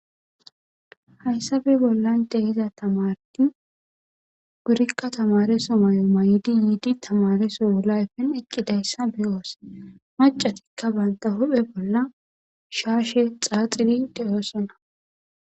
hayssape bollan de7aza tamarti gurikka tamareso mayo may7idi yiidi tamareso wulayfen eqqidayssa beyoos macatikka banta huphe bolla shaashe xaaxidi deyoosona.